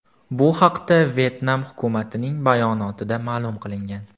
Bu haqda Vyetnam hukumatining bayonotida ma’lum qilingan .